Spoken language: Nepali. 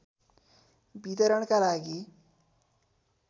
वितरणका लागि